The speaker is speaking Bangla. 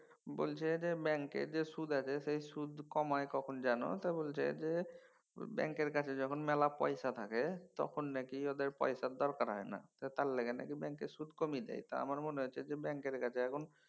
বলছে যে ব্যাঙ্কে যে সুদ আছে সে সুদ কমায় কখন যেন বলছে যে ব্যাঙ্কের কাছে যখন মেলা পয়সা থাকে তখন নাকি ওদের পয়সার দরকার হয়না তার লাইগা নাকি ব্যাঙ্কের সুদ কমিয়ে দেয়। তা আমার মনে হয়ছে যে ব্যাঙ্কের কাছে এখন